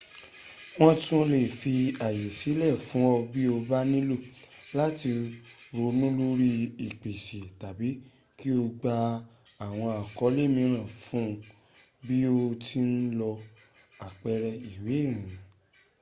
wọ́n tún lè fi ààyè sílẹ̀ fún ọ bí o bá nílò láti ronú lórí ìpèsè tàbí kí o gba àwọn àkọ́ọ̀lẹ̀ mìíran fún ibi tí ò ń lọ àpẹrẹ. ìwé ìrìnnà